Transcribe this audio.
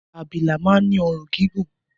Abilà man ni òrun gígùn